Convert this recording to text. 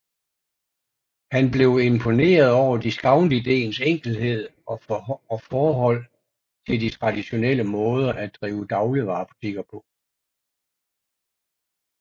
Han blev imponeret over discountideens enkelhed og forhold til de traditionelle måder at drive dagligvarebutikker på